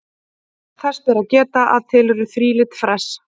Þess ber að geta að til eru þrílit fress.